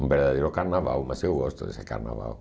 Um verdadeiro carnaval, mas eu gosto desse carnaval.